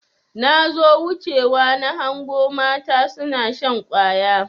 Nazo wuce wa nahango mata suna shan ƙwaya.